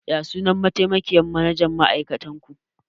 Ya sunan mataimakiyyar manajan ma'aikatar ku?